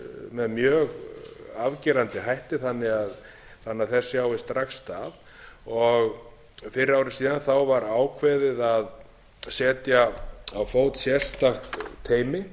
með mjög afgerandi hætti þannig að þess sjáist strax stað fyrir ári síðan var ákveðið að setja á fót sérstakt teymi